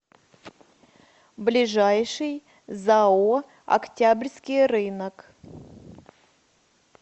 ближайший зао октябрьский рынок